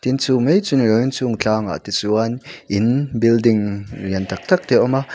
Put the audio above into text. tin chumai chu niloin chungah tlangah te chuan in building lian tak tak te a awm a.